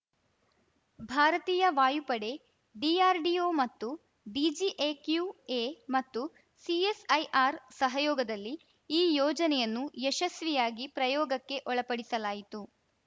ಭಾರತೀಯ ವಾಯುಪಡೆ ಡಿಆರ್‌ಡಿಒ ಮತ್ತು ಡಿಜಿಎಕ್ಯುಎ ಮತ್ತು ಸಿಎಸ್‌ಐಆರ್‌ ಸಹಯೋಗದಲ್ಲಿ ಈ ಯೋಜನೆಯನ್ನು ಯಶಸ್ವಿಯಾಗಿ ಪ್ರಯೋಗಕ್ಕೆ ಒಳಪಡಿಸಲಾಯಿತು